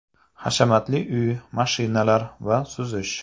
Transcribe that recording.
Hashamatli uy, mashinalar va suzish.